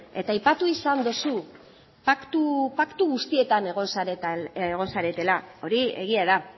eta aipatu izan dozu paktu guztietan egon zaretela hori egia da